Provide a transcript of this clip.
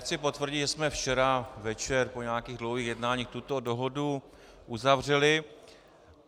Chci potvrdit, že jsme včera večer po nějakých dlouhých jednáních tuto dohodu uzavřeli.